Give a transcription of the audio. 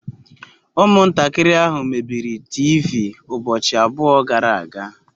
Umuntakiri ahu mebiri teevee ubochi abuo gara aga